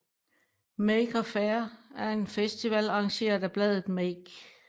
Maker Faire er en festival arrangeret af bladet Make